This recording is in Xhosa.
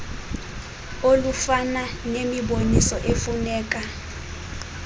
olufana nemiboniso efuneka